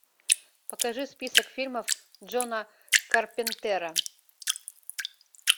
покажи список фильмов джона карпентера